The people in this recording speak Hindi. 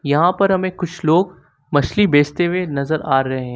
यहां पर हमें कुछ लोग मछली बेचते हुए नजर आ रहे हैं।